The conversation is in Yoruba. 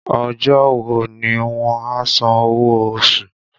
Ọjọ́ wo ni wọ́n a san owó oṣù?